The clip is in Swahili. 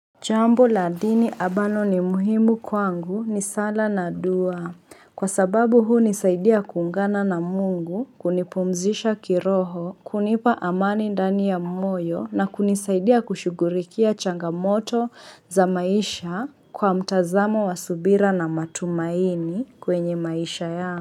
Jambo la dini abalo ni muhimu kwangu ni sala na dua. Kwa sababu hunisaidia kuungana na mungu, kunipumzisha kiroho, kunipa amani ndani ya moyo na kunisaidia kushugurikia changamoto za maisha kwa mtazamo wa subira na matumaini kwenye maisha yangu.